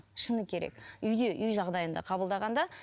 шыны керек үйде үй жағдайында қабылдаған да